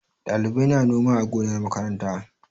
Ɗalibai na noma a gonar makaranta.